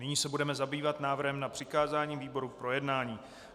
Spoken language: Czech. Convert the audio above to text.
Nyní se budeme zabývat návrhem na přikázání výborům k projednání.